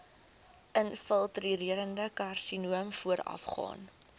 infiltrerende karsinoom voorafgaan